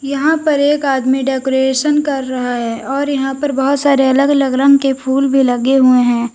यहां पर एक आदमी डेकोरेशन कर रहा है और यहां पर बहोत सारे अलग -अलग रंग के फूल भी लगे हुए हैं।